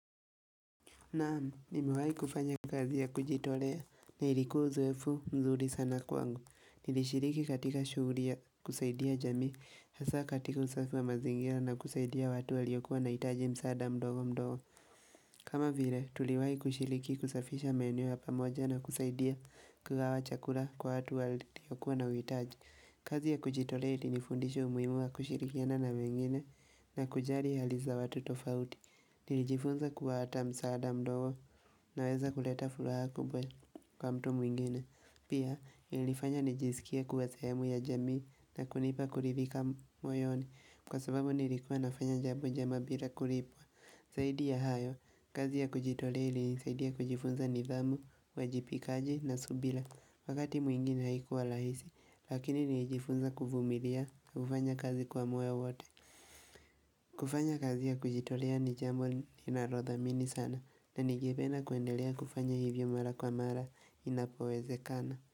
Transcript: Na'am, nimewahi kufanya kazi ya kujitolea na ilikuwa uzoefu mzuri sana kwangu. Nilishiriki katika shughuli ya kusaidia jamii, hasa katika usafi wa mazingira na kusaidia watu waliokuwa wanahitaji msaada mdogo mdogo. Kama vile, tuliwahi kushiriki kusafisha maeneo ya pamoja na kusaidia kugawa chakula kwa watu waliokua na uhitaji. Kazi ya kujitolea ilinifundisha umuhimu wa kushirikiana na wengine na kujali hali za watu tofauti. Nilijifunza kuwa hata msaada mdogo unaweza kuleta furaha kubwa kwa mtu mwingine. Pia ilinifanya nijisikie kuwa sehemu ya jamii na kunipa kuridhika moyoni kwa sababu nilikuwa nafanya jambo njema bila kulipwa. Zaidi ya hayo, kazi ya kujitolea ilinisaidia kujifunza nidhamu, uwajibikaji na subira. Wakati mwingine haikuwa rahisi lakini nijifunza kuvumilia, kufanya kazi kwa moyo wote. Kufanya kazi ya kujitolea ni jambo ninalothamini sana na ningependa kuendelea kufanya hivyo mara kwa mara inapowezekana.